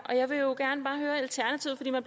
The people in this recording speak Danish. når